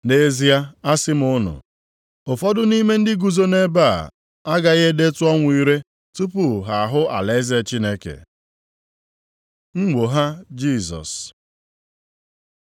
“Nʼezie asị m unu, ụfọdụ nʼime ndị guzo nʼebe a agaghị edetụ ọnwụ ire tupu ha ahụ alaeze Chineke.” Nnwogha Jisọs